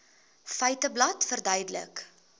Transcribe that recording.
feiteblad verduidelik